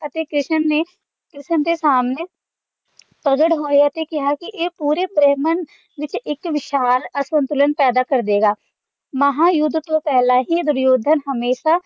ਅਤੇ ਕ੍ਰਿਸ਼ਨ ਨੇ ਕ੍ਰਿਸ਼ਨ ਦੇ ਸਾਹਮਣੇ ਪ੍ਰਗਟ ਹੋਇਆ ਤੇ ਕਿਹਾ ਕਿ ਇਹ ਪੂਰੇ ਬ੍ਰਹਮੰਡ ਵਿੱਚ ਇੱਕ ਵਿਸ਼ਾਂ ਅਸੰਤੁਲਨ ਪੈਦਾ ਕਰ ਦਏਗਾ ਮਹਾਂਯੁੱਧ ਤੋਂ ਪਹਿਲਾਂ ਹੀ ਦੁਰਯੋਧਨ ਹਮੇਸ਼ਾਂ